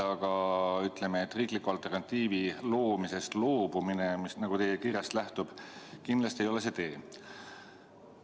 Aga riikliku alternatiivi loomisest loobumine, mis teie kirjast lähtub, ei ole kindlasti see tee.